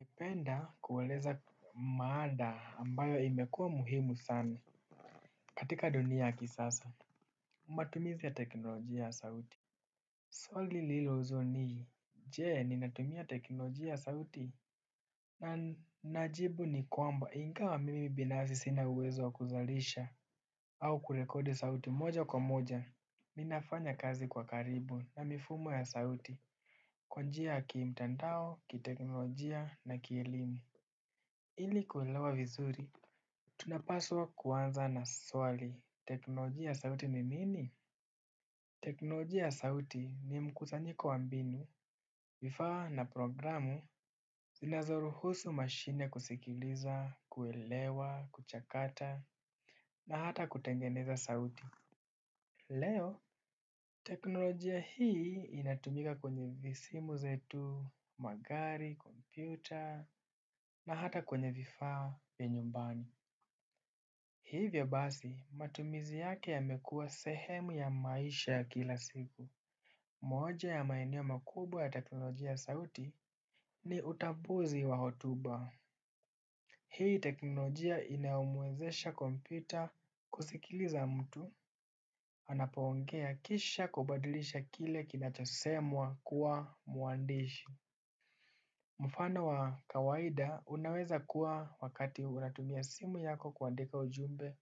Napenda kueleza maada ambayo imekuwa muhimu sana katika dunia ya kisasa. Matumizi ya teknolojia ya sauti. Swali lnililoulizwa ni, je ninatumia teknolojia ya sauti? Na najibu ni kwamba ingawa mimi binafsi sina uwezo wa kuzalisha. Au kurekodi sauti moja kwa moja. Mi nafanya kazi kwa karibu na mifumo ya sauti. Kwa njia ya kimtandao, kiteknolojia na kielimu. Ili kuelewa vizuri. Tunapaswa kuanza na swali, teknolojia ya sauti ni nini? Teknolojia ya sauti ni mkusanyiko wa mbinu, vifaa na programu, zinazoruhusu mashine kusikiliza, kuelewa, kuchakata, na hata kutengeneza sauti. Leo teknolojia hii inatumika kwenye simu zetu, magari, kompyuta na hata kwenye vifaa vya nyumbani. Hivyo basi, matumizi yake yamekuwa sehemu ya maisha ya kila siku. Moja ya maeneo makubwa ya teknolojia sauti ni utambuzi wa hotuba. Hii teknolojia inayomwezesha kompyuta kusikiliza mtu. Anapoongea kisha kubadilisha kile kinachosemwa kuwa mwandishi. Mfano wa kawaida unaweza kuwa wakati unatumia simu yako kuandika ujumbe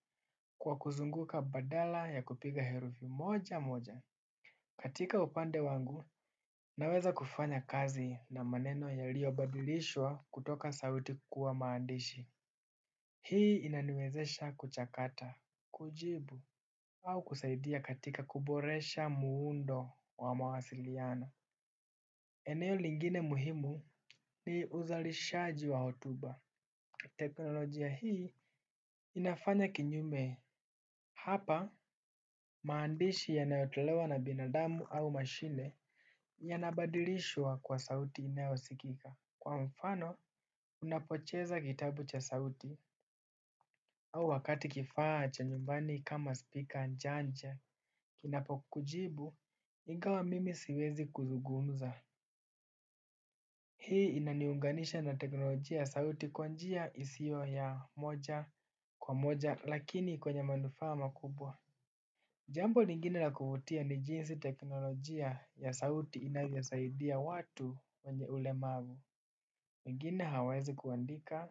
kwa kuzunguka badala ya kupiga herufi moja moja. Katika upande wangu, naweza kufanya kazi na maneno yaliyobadilishwa kutoka sauiti kuwa maandishi. Hii inaniwezesha kuchakata, kujibu, au kusaidia katika kuboresha muundo wa mawasiliano. Eneo lingine muhimu ni uzalishaji wa hotuba. Teknolojia hii inafanya kinyume. Hapa maandishi yanayotolewa na binadamu au mashine. Yanabadilishwa kwa sauti inayosikika. Kwa mfano, unapocheza kitabu cha sauti au wakati kifaa cha nyumbani kama speaker ancha ancha kinapo kujibu, ingawa mimi siwezi kuzugumza. Hii inaniunganisha na teknolojia sauti kwa njia isiyo ya moja kwa moja lakini kwenye manufaa makubwa. Jambo lingine la kuvutia ni jinsi teknolojia ya sauti inavyosaidia watu wenye ulemavu. Mengine hawaezi kuandika,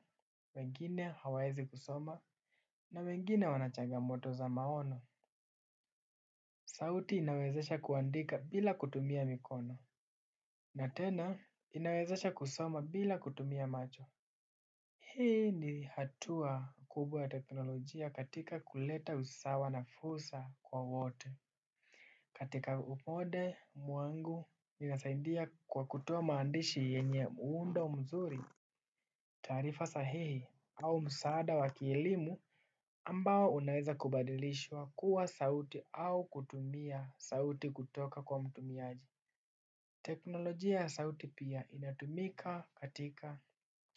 wengine hawaezi kusoma, na mengine wanachagamoto za maono. Sauti inawezesha kuandika bila kutumia mikono. Na tena inawezesha kusoma bila kutumia macho. Hii ni hatua kubwa ya teknolojia katika kuleta usawa na fursa kwa wote. Katika upode muangu minasaindia kwa kutoa maandishi yenye muundo mzuri taarifa sahihi au msaada wa kielimu amabao unaweza kubadilishwa kuwa sauti au kutumia sauti kutoka kwa mtumiaji. Teknolojia ya sauti pia inatumika katika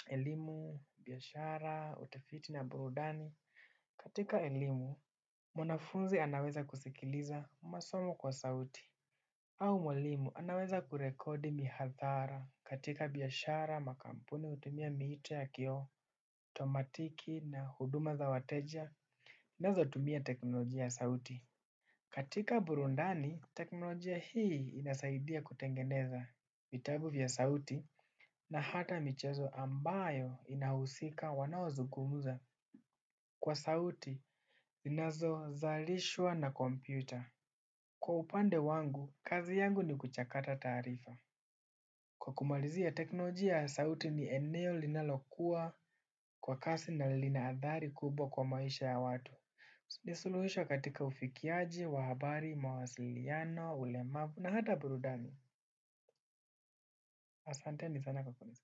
elimu, biashara, utafiti na burudani. Katika elimu, mwanafunzi anaweza kusikiliza masomo kwa sauti. Au mwalimu anaweza kurekodi mihadhara katika biashara, makampuni hutumia miito ya kiotomatiki na huduma za wateja. Nazo hutumia teknolojia ya sauti. Katika burudani, teknolojia hii inasaidia kutengeneza vitabu vya sauti na hata michezo ambayo inahusika wanaoazugumuza kwa sauti zinazo zalishwa na kompyuta. Kwa upande wangu, kazi yangu ni kuchakata tarifa. Kwa kumalizia teknolojia ya sauti ni eneo linalokua kwa kasi na linaadhari kubwa kwa maisha ya watu. Ni suluhisho katika ufikiaji, wa habari, mwasiliano, ulemavu, na hata burudani. Asante ni sana kwa kunisikiliza.